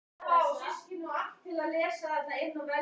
Erlendis eru tveir sigdalir einkum frægir en það eru